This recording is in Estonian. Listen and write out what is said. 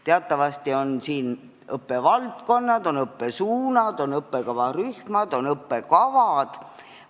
Teatavasti on õppevaldkonnad, on õppesuunad, on õppekavarühmad, on õppekavad.